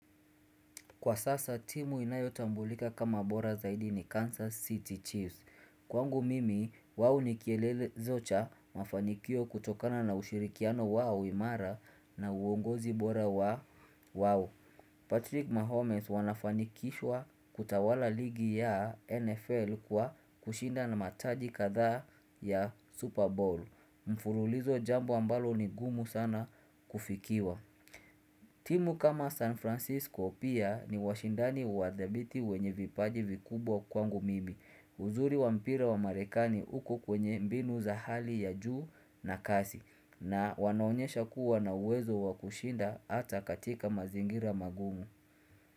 Kwa sasa, timu inayotambulika kama bora zaidi ni Kansas City Chiefs. Kwangu mimi, wao nikielele zocha mafanikio kutokana na ushirikiano wao imara na uongozi bora wao. Patrick Mahomes wanafanikishwa kutawala ligi ya NFL kwa kushinda na mataji kadhaa ya Super Bowl. Mfululizo jambo ambalo ni gumu sana kufikiwa. Timu kama San Francisco pia ni washindani wadhabiti wenye vipaji vikubwa kwangu mimi. Uzuri wampira wa marekani uko kwenye mbinu za hali ya juu na kasi na wanaonyesha kuwa na uwezo wakushinda hata katika mazingira magumu.